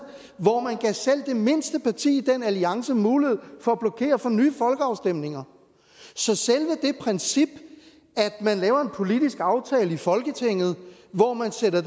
hvor man gav selv mindste parti i den alliance mulighed for at blokere for nye folkeafstemninger så selve det princip at man laver en politisk aftale i folketinget hvor man sætter